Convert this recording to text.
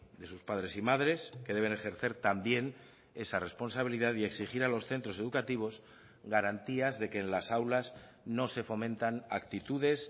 de sus padres y madres que deben ejercer también esa responsabilidad y exigir a los centros educativos garantías de que en las aulas no se fomentan actitudes